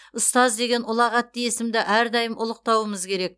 ұстаз деген ұлағатты есімді әрдайым ұлықтауымыз керек